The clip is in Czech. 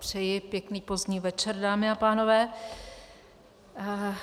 Přeji pěkný pozdní večer, dámy a pánové.